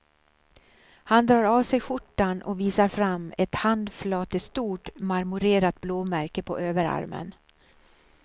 Han drar av sig skjortan och visar fram ett handflatestort, marmorerat blåmärke på överarmen.